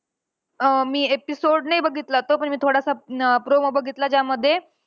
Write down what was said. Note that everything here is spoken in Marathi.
अं मी episode नाही बघितला तो. पण मी थोडासा अं promo बघितला ज्यामध्ये.